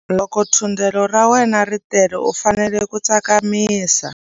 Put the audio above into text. Loko thundelo ra wena ri tele u fanele ku tsakamisa.